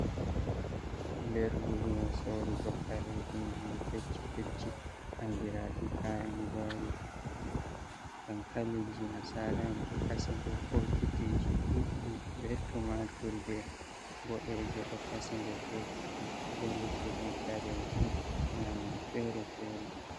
Nder lumo sorrugo kareji nyamdu kecci kecci, andiraji kayan gwari, dankaliji nasara'en ɗo kasi nder bokitiji duɗdi be tumatur je boɗeje do kasi der bokiti be luttuɗum kareji nyamdu fere fere.